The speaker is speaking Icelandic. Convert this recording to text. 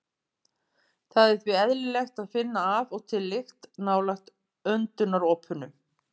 Það er því eðlilegt að finna af og til lykt nálægt öndunaropunum.